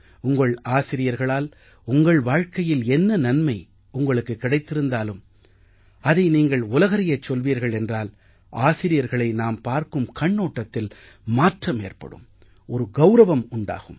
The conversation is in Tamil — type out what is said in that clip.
உங்கள் ஆசிரியர்களால் உங்கள் வாழ்க்கையில் என்ன நன்மை உங்களுக்கு கிடைத்திருந்தாலும் அதை நீங்கள் உலகறியச் சொல்வீர்கள் என்றால் ஆசிரியர்களை நாம் பார்க்கும் கண்ணோட்டத்தில் மாற்றம் ஏற்படும் ஒரு கௌரவம் உண்டாகும்